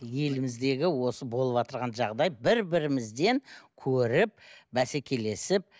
еліміздегі осы болыватырған жағдай бір бірімізден көріп бәсекелесіп